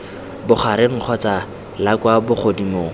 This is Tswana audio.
bogareng kgotsa la kwa bogodimong